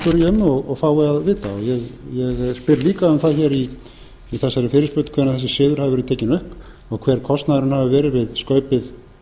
um og fái að vita og ég spyr líka um það í þessari fyrirspurn hvenær þessi siður hafi verið tekinn upp og hver kostnaðurinn hafi verið við skaupið